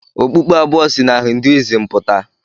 Okpukpe abụọ si na Hinduism pụta.